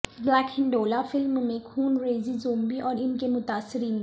black گیہیینڈولا film میں خونریزی زومبی اور ان کے متاثرین